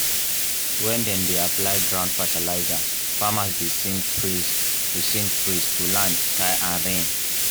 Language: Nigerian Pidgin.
when dem dey apply ground fertilizer farmers dey sing praise to sing praise to land sky and rain.